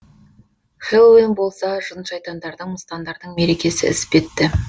хэллоуин болса жын шайтандардың мыстандардың мерекесі іспетті